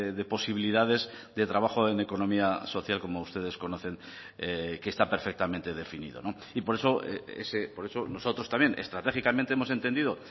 de posibilidades de trabajo en economía social como ustedes conocen que está perfectamente definido y por eso por eso nosotros también estratégicamente hemos entendido